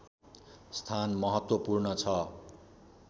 स्थान महत्त्वपूर्ण छ